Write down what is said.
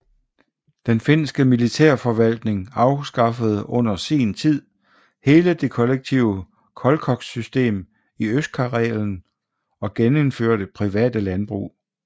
Den Finske Militærforvaltning afskaffede under sin tid hele det kollektive kolchossystemet i Østkarelen og genindførte private landbrug